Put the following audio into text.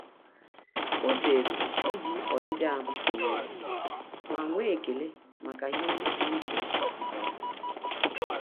Ọ́ zèrè íjí ọ́dị́dị́ áhụ́ tụnyere ma nwee ekele màkà ihe ndị pụ́rụ́ iche nke ya.